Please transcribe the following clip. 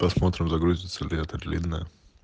посмотрим загрузится ли это длинная